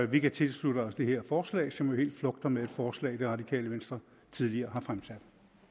vi kan tilslutte os det her forslag som jo helt flugter med et forslag det radikale venstre tidligere har fremsat